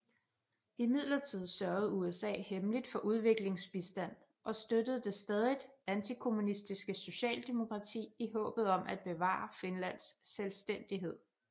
Imidlertid sørgede USA hemmeligt for udviklingsbistand og støttede det stadigt antikommunistiske Socialdemokrati i håbet om at bevare Finlands selvstændighed